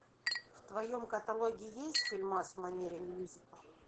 в твоем каталоге есть фильмас в манере мюзикла